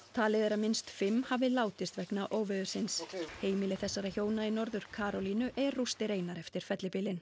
talið er að minnst fimm hafi látist vegna óveðursins heimili þessara hjóna í Norður Karólínu er rústir einar eftir fellibylinn